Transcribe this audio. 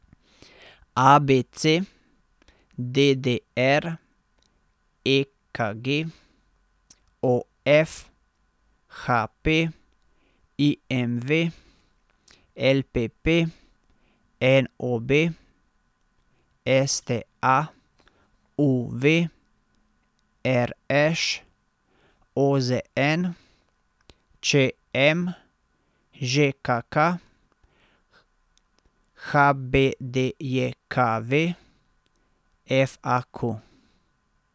A B C; D D R; E K G; O F; H P; I M V; L P P; N O B; S T A; U V; R Š; O Z N; Č M; Ž K K; H B D J K V; F A Q.